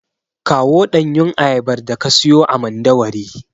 Kawo ɗanyun ayabar daka siyo a Mandawari.